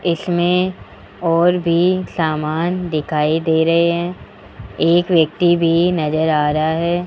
इसमें और भी सामान दिखाई दे रहे हैं एक व्यक्ति भी नजर आ रहा है।